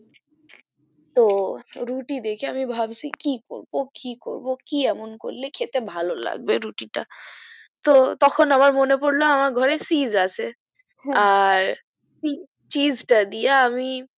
তো রুটি দেখে আমি ভাবলাম কি করবো কি করব কি এমন করলে খেতে ভালো লাগবে রুটি টা তো তখন আমার মনে পড়লো আমার ঘরে cheese আছে আর cheese টা দিয়া আমি